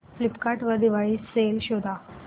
Flipkart वर Diwali sale शोधा